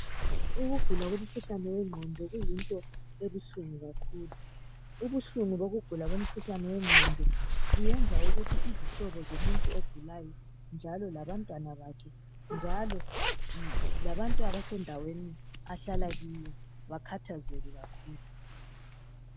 Ukugula komkhuhlane wengqondo kuyinto ebuhlungu kakhulu ubuhlungu bokugula komkhuhlane wengqondo kuyenza ukuthi izihlobo zomuntu ogulayo njalo labantwana bakhe njalo labantu abasendaweni ahlala kiyo bakhathazeke kakhulu.